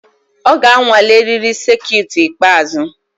Ọ ga-anwale eriri sekit ikpeazụ.